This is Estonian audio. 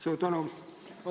Suur tänu!